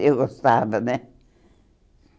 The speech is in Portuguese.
Eu gostava, né?